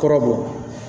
Kɔrɔ bɔ